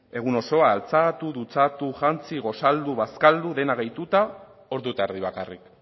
egun osoa altxatu dutxatu jantzi gosaldu bazkaldu dena gehituta ordu eta erdi bakarrik